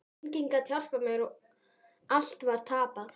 Enginn gat hjálpað mér, allt var tapað.